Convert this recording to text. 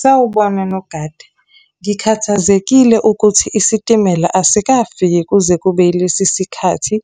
Sawubona nogada. Ngikhathazekile ukuthi isitimela asikafiki kuze kube yilesi sikhathi.